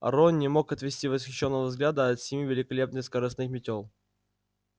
рон не мог отвести восхищённого взгляда от семи великолепных скоростных метёл